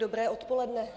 Dobré odpoledne.